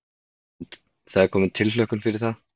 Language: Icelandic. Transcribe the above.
Það er komin tilhlökkun fyrir það.